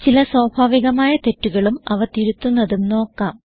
ചില സ്വാഭാവികമായ തെറ്റുകളും അവ തിരുത്തുന്നതും നോക്കാം